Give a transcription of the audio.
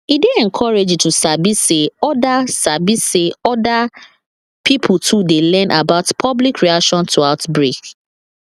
e dey encouraging to sabi say other sabi say other pipo too dey learn about public reaction to outbreak